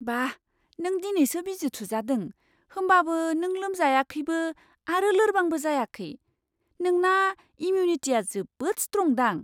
बा! नों दिनैसो बिजि थुजादों, होमबाबो नों लोमजायाखैबो आरो लोरबांबो जायाखै। नोंना इमिउनिटिया जोबोद स्ट्रंदां।